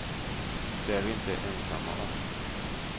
Det är vi inte ensamma om.